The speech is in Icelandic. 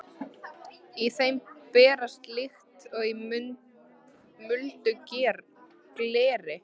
Í þeim brast líkt og í muldu gleri.